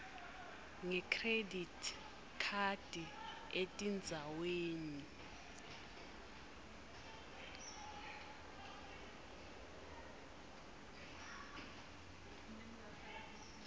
ngekhredithi khadi etindzaweni